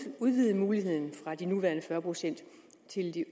at udvide muligheden fra de nuværende fyrre procent